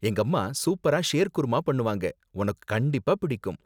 எங்கம்மா சூப்பரா ஷேர்குர்மா பண்ணுவாங்க, உனக்கு கண்டிப்பா பிடிக்கும்.